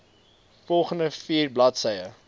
volgende vier bladsye